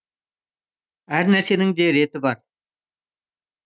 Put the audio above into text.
әр нәрсенің де реті бар